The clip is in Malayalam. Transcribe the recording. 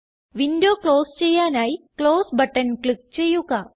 വിൻഡോ ക്ലോസ് ചെയ്യാനായി ക്ലോസ് ബട്ടൺ ക്ലിക്ക് ചെയ്യുക